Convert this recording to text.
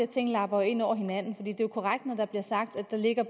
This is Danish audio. ting lapper ind over hinanden det er jo korrekt når det bliver sagt at der ligger